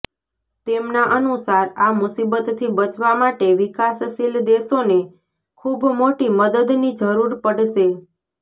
તેમના અનુસાર આ મુસીબતથી બચવા માટે વિકાસશીલ દેશોને ખૂબ મોટી મદદની જરૂર પડશે